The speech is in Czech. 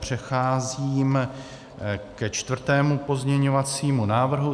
Přecházím ke čtvrtému pozměňovacímu návrhu.